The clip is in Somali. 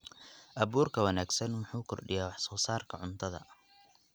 Abuurka wanaagsan wuxuu kordhiyaa wax soo saarka cuntada.